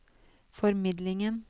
formidlingen